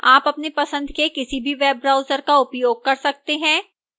आप अपनी पसंद के किसी भी web browser का उपयोग कर सकते हैं